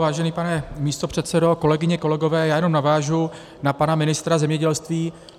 Vážený pane místopředsedo, kolegyně, kolegové, já jenom navážu na pana ministra zemědělství.